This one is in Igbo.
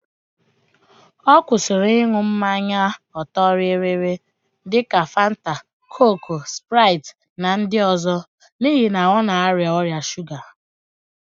Ọ kwụsịrị ịn̄ụ mmanya ọ̀tọ́rịrịrị dika Fanta, kooku, spraịt na ndị ọzọ n'ihi na ọ na-arịa ọrịa shuga